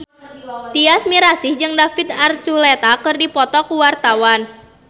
Tyas Mirasih jeung David Archuletta keur dipoto ku wartawan